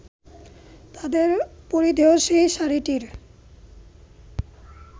তাদের পরিধেয় সেই শাড়িটির